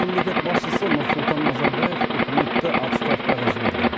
мемлекет басшысы нұрсұлтан назарбаев үкіметті оставкаға жіберді